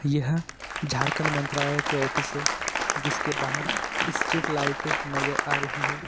यह झारखंड मंत्रालय के ऑफिस से इसके बाहर स्ट्रीट लाइट नजर आ रही है।